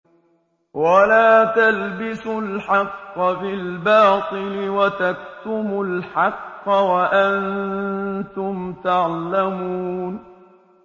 وَلَا تَلْبِسُوا الْحَقَّ بِالْبَاطِلِ وَتَكْتُمُوا الْحَقَّ وَأَنتُمْ تَعْلَمُونَ